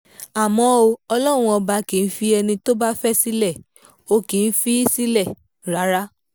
àmọ́ o ọlọ́run ọba kì í fi ẹni tó bá fẹ́ sílẹ̀ o kì í fi í sílẹ̀ rárá